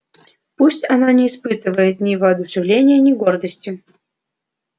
пусть она не испытывает ни воодушевления ни гордости